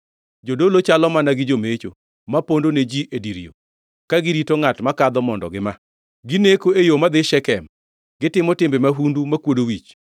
Jodolo chalo mana gi jomecho ma pondo ne ji e dir yo, ka girito ngʼat makadho mondo gima. Gineko e yo madhi Shekem, gitimo timbe mahundu makwodo wich.